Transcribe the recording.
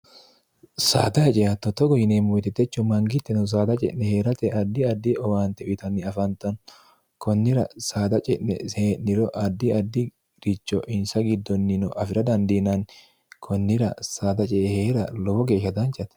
saada hecehatto togo yineemmo itetechu mangitteno saada ce'ne hee'rate addi addi owaante uyitanni afantanno kunnira saada ce'ne see'niro addi addi richo insa giddonni no afi'ra dandiinanni kunnira saada cee hee'ra lowo geeshsha danchate